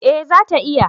eh za ta iya